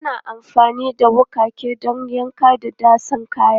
Ana amfani da wuƙaƙen don yanka da datsa kayan.